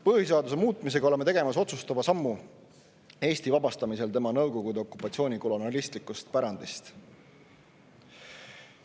Põhiseaduse muutmisega oleme tegemas otsustava sammu Eesti vabastamisel Nõukogude okupatsiooni kolonialistlikust pärandist.